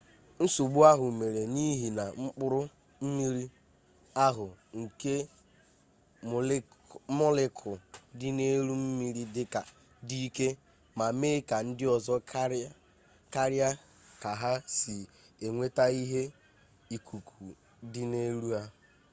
nsogbu ahụ mere n'ihi na mkpụrụ mmiri ahụ nke mọlekul dị n'elu mmiri dị ike ma mee ka ndịọzọ karịa ka ha si enweta ihe ikuku dị n'elu ha